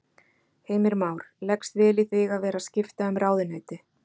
Heimir Már: Leggst vel í þig að vera skipta um ráðuneyti?